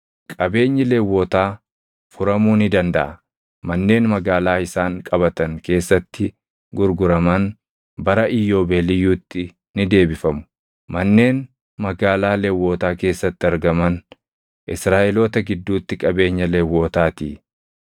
Qabeenyi Lewwotaa furamuu ni dandaʼa; manneen magaalaa isaan qabatan keessatti gurguraman bara Iyyoobeeliyyuutti ni deebifamu; manneen magaalaa Lewwotaa keessatti argaman Israaʼeloota gidduutti qabeenya Lewwotaatii.